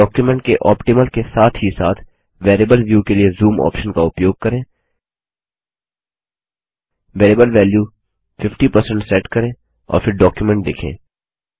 document के optimal के साथ ही साथ वेरिएबल व्यू के लिए जूम ऑप्शन का उपयोग करें वेरिएबल वेल्यू 50 सेट करें और फिर डॉक्युमेंट देखें